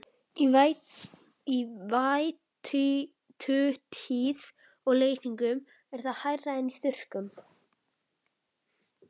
Í vætutíð og leysingum er það hærra en í þurrkum.